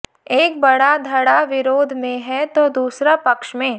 एक बड़ा धड़ा विरोध में है तो दूसरा पक्ष में